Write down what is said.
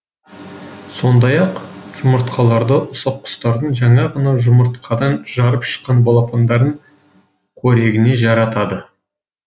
сондай ақ жұмыртқаларды ұсақ құстардың жаңа ғана жұмыртқадан жарып шыққан балапандарын қорегіне жаратады